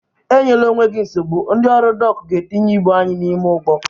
Enyela onwe gị nsogbu, ndị ọrụ dọk ga-etinye ibụ anyị n'ime ụgbọ